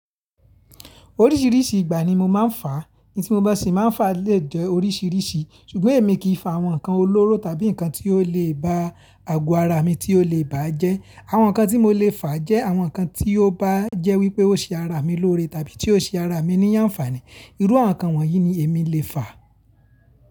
Oríṣìíríṣìí ìgbà ni mo máa ń fà. In to ma si ma fa le je orisirisi, sugbon emi ki fa awon nkan olooro tabi nkan to le ba ago ara mi ti o le baje. Àwọn nǹkan tí mo lè fà jẹ́ àwọn nǹkan tí ó bá jẹ́ wípé ó ṣe ara mi lóore tàbí tí ó ṣe ara mi ní àǹfààní. Iru awon nkan wonyi ni emi le faa.